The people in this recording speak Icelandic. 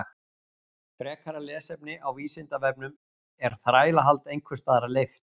Frekara lesefni á Vísindavefnum Er þrælahald einhvers staðar leyft?